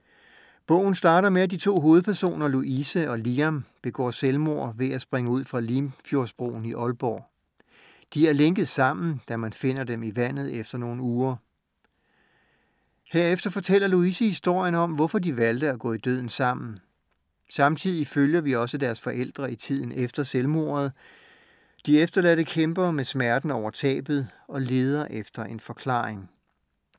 Bogen starter med, at de to hovedpersoner, Louise og Liam, begår selvmord ved at springe ud fra Limfjordsbroen i Aalborg. De er lænket sammen, da man finder dem i vandet efter nogle uger. Herefter fortæller Louise historien om, hvorfor de valgte at gå i døden sammen. Samtidig følger vi også deres forældre i tiden efter selvmordet. De efterladte kæmper med smerten over tabet og leder efter en forklaring.